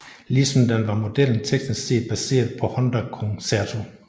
Ligesom den var modellen teknisk set baseret på Honda Concerto